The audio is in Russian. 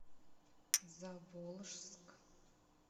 заволжск